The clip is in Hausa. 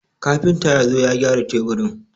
Kafinta ya zo ya gyara teburin.